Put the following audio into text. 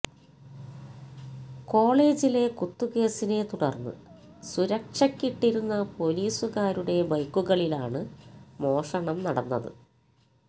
കോളേജിലെ കുത്തുകേസിനെ തുടർന്ന് സുരക്ഷയ്ക്കിട്ടിരുന്ന പൊലീസുകാരുടെ ബൈക്കുകളിലാണ് മോഷണം നടന്നത്